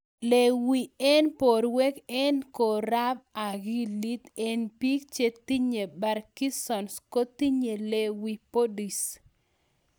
Lewy eng porwek eng' korab akilit eng' biik chetinye parkinson's kotinye lewy bodies